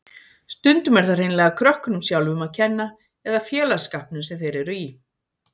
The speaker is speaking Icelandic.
Stundum er það hreinlega krökkunum sjálfum að kenna eða félagsskapnum sem þeir eru í.